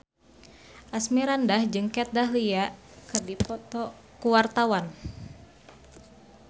Asmirandah jeung Kat Dahlia keur dipoto ku wartawan